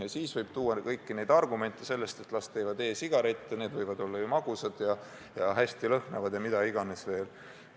Ja siis võib tuua kõiki neid argumente, et las tõmbavad e-sigarette, need võivad pealegi olla magusad ja hästi lõhnavad ja mida iganes veel.